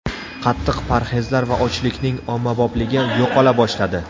Qattiq parhezlar va ochlikning ommabopligi yo‘qola boshladi.